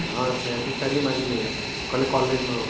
ହଁ ସ୍ନେହାସିଶ sir ହି ମାଗିକି ନେଇଗଲେ କହିଲେ college ନବ ପାଇଁ